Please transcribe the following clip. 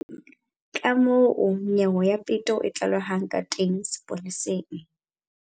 Kamoo nyewe ya peto e tlalehwang ka teng sepoleseng.